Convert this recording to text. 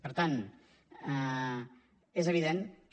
per tant és evident que